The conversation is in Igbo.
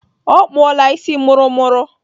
Ọ kpụọla isi mụrụmụrụ.